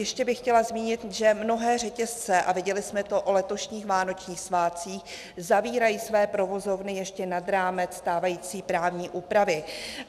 Ještě bych chtěla zmínit, že mnohé řetězce, a viděli jsme to o letošních vánočních svátcích, zavírají své provozovny ještě nad rámec stávající právní úpravy.